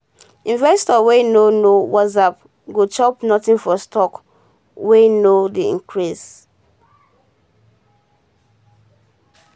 investor wey nor know wassup go chop nothing for stock wey no dey increase